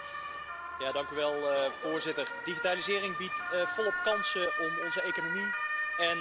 Voorzitter, digitalisering biedt volop kansen om onze economie en samenleving te versterken.